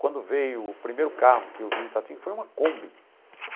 Quando veio o primeiro carro que eu vi em Itatinga, foi uma Kombi.